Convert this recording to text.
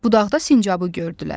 Budaqda sincabı gördülər.